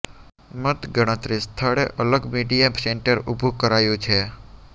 મત ગણતરી સ્થળે અલગ મીડીયા સેન્ટર ઉભુ કરાયુ છે